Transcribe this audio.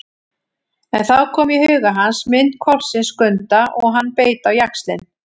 En þá kom í huga hans mynd hvolpsins Skunda og hann beit á jaxlinn.